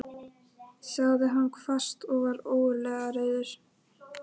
sagði hann hvasst og var ógurlega reiður.